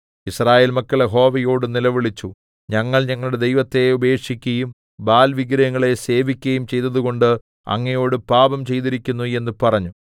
യിസ്രായേൽ മക്കൾ യഹോവയോട് നിലവിളിച്ചു ഞങ്ങൾ ഞങ്ങളുടെ ദൈവത്തെ ഉപേക്ഷിക്കയും ബാൽവിഗ്രഹങ്ങളെ സേവിക്കയും ചെയ്തതുകൊണ്ട് അങ്ങയോട് പാപം ചെയ്തിരിക്കുന്നു എന്ന് പറഞ്ഞു